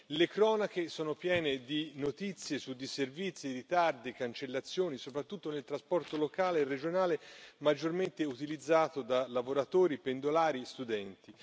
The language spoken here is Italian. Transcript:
Le cronache sono piene di notizie su disservizi, ritardi e cancellazioni, soprattutto nel trasporto locale e regionale maggiormente utilizzato da lavoratori, pendolari e studenti.